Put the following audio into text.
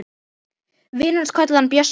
Vinir hans kölluðu hann Bjössa.